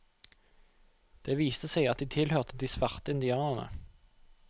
Det viste seg at de tilhørte de svarte indianerne.